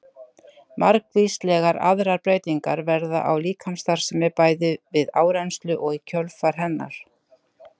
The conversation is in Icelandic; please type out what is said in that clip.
Margvíslegar aðrar breytingar verða á líkamsstarfseminni bæði við áreynslu og í kjölfar hennar.